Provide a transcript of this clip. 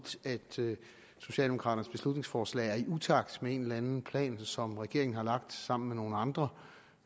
socialdemokraternes beslutningsforslag er i utakt med en eller anden plan som regeringen har lagt sammen med nogle andre